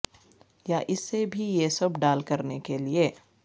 یا اس سے بھی یہ سب ڈال کرنے کے لئے